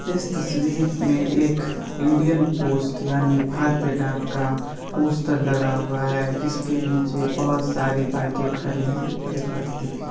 इस तस्वीर में एक इंडियन पोस्ट यानि भारतीय डाक का पोस्टर लगा हुआ है जिसके नीचे बहोत सारी बाइके खड़ी है और एक व्यक्ति भी --